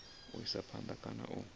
u isa phanda kana u